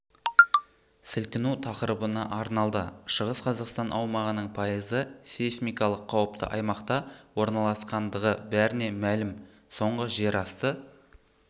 сілкіну тақырыбына арналды шығыс қазақстан аумағының пайызы сейсмикалық қауіпті аймақта орналасқандығы бәріне мәлім соңғы жерасты